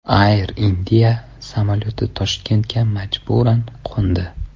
Air India samolyoti Toshkentga majburan qo‘ndi.